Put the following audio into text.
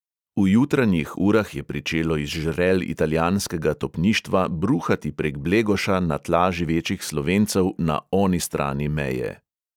V jutranjih urah je pričelo iz žrel italijanskega topništva bruhati prek blegoša na tla živečih slovencev na 'oni strani meje'.